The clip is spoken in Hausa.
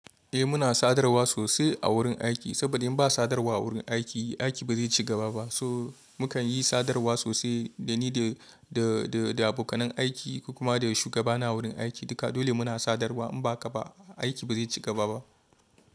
Eh muna sadarwa sosai a wurin aiki saboda in ba sadarwa a wurin aiki aiki ba zai ci gaba ba. So muke yi sadarwa sosai dani da da da da abokan aiki kuma da shugabana wurin aiki. Duka dole mu na sadarwa in ba haka ba aiki ba zai ci gaba ba.